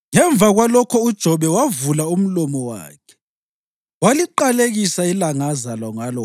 Ngemva kwalokho uJobe wavula umlomo wakhe waliqalekisa ilanga azalwa ngalo.